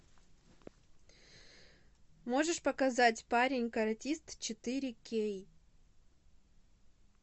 можешь показать парень каратист четыре кей